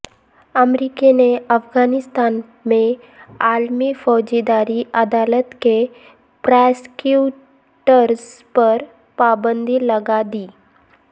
امریکہ نے افغانستان میں عالمی فوجداری عدالت کے پراسیکیوٹرز پر پابندی لگا دی